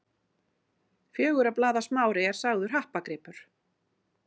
Fjögurra blaða smári er sagður happagripur.